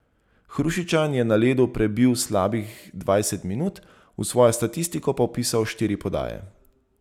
Hrušičan je na ledu prebil slabih dvajset minut, v svojo statistiko pa vpisal štiri podaje.